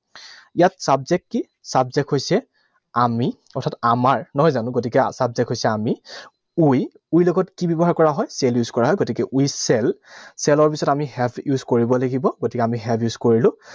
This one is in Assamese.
ইয়াত subject কি? Subject হৈছে আমি, কথাটো আমাৰ নহয় জানো? গতিকে subject হৈছে আমি, we. We লগত কি ব্যৱহাৰ কৰা হয়? Shall use কৰা হয়। গতিকে we shall, shall ৰ পিছত আমি have use কৰিব লাগিব। গতিকে আমি have use কৰিলো।